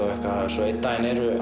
svo einn dag